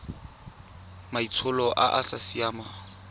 maitsholo a a sa siamang